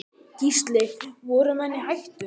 Gísli: Voru menn í hættu?